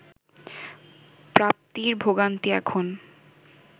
প্রাপ্তির ভোগান্তি এখন